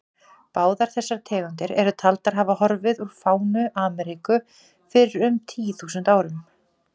Báðar þessar tegundir eru taldar hafa horfið úr fánu Ameríku fyrir um tíu þúsund árum.